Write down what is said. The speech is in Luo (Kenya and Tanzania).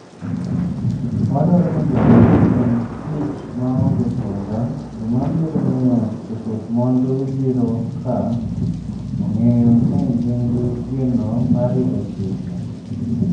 "Wadwaro ni jodongo otim tich maonge sunga, gima biro miyo joket mwandu biro ka ong'eyo ni gin gi geno mar rito chike."""